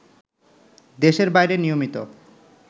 দেশের বাইরে নিয়মিত